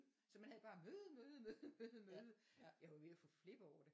Så man havde bare møde møde møde møde møde. Jeg var ved at få flip over det